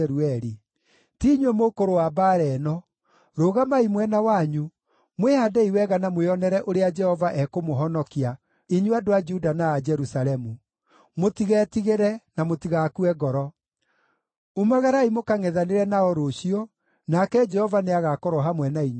Ti inyuĩ mũkũrũa mbaara ĩno. Rũgamai mwena wanyu, mwĩhaandei wega na mwĩonere ũrĩa Jehova ekũmũhonokia, inyuĩ andũ a Juda na a Jerusalemu. Mũtigetigĩre, na mũtigakue ngoro. Umagarai mũkangʼethanĩre nao rũciũ, nake Jehova nĩagakorwo hamwe na inyuĩ.’ ”